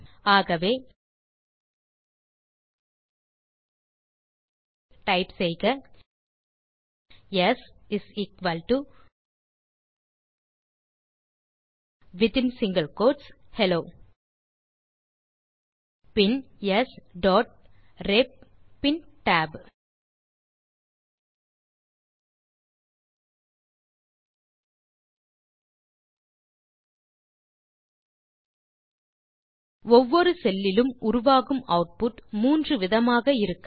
ஆகவே டைப் செய்க s வித்தின் சிங்கில் கோட்ஸ் ஹெல்லோ பின் ஸ் டாட் ரெப் பின் tab ஒவ்வொரு செல் லிலும் உருவாகும் ஆட்புட் மூன்று விதமாக இருக்கலாம்